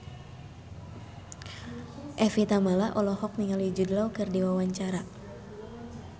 Evie Tamala olohok ningali Jude Law keur diwawancara